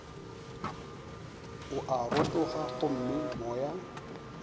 o a rotoga gomme moya